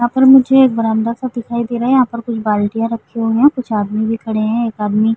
यहाँ पर मुझे एक बरामदा-सा दिखाई दे रहा है। यहाँ पर कुछ बाल्टियाँ रखी हुई है। कुछ आदमी भी खड़े हैं। एक आदमी --